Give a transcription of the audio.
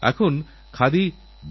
রিওতেউড়ুক বিজয় নিশান